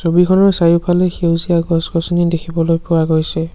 ছবিখনৰ চাৰিওফালে সেউজীয়া গছ-গছনি দেখিবলৈ পোৱা গৈছে।